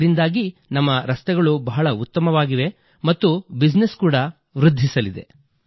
ಇದರಿಂದಾಗಿ ನಮ್ಮ ರಸ್ತೆಗಳು ಬಹಳ ಉತ್ತಮವಾಗಿವೆ ಮತ್ತು ಬಿಜಿನೆಸ್ ಕೂಡಾ ವೃದ್ಧಿಸಲಿದೆ